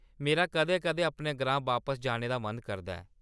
मेरा कदें-कदें अपने ग्रां बापस जाने दा मन करदा ऐ।